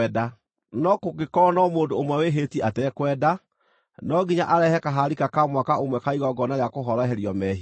“ ‘No kũngĩkorwo no mũndũ ũmwe wĩhĩtie atekwenda, no nginya arehe kaharika ka mwaka ũmwe ka igongona rĩa kũhoroherio mehia.